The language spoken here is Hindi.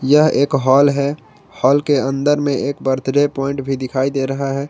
यह एक हाल है हाल के अंदर में एक बर्थडे पॉइंट भी दिखाई दे रहा है।